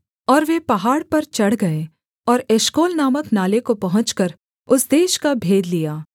और वे पहाड़ पर चढ़ गए और एशकोल नामक नाले को पहुँचकर उस देश का भेद लिया